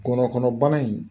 Ngɔnɔnkɔnɔbana in